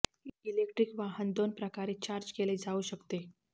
electric वाहन दोन प्रकारे चार्ज केले जाऊ शकते